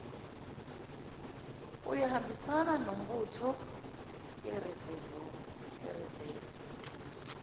uyohambisana nombutho irizevu